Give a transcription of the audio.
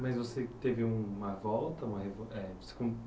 Mas você teve uma volta?